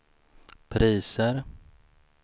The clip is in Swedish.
priser